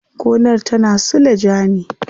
Gonar tana suleja ne.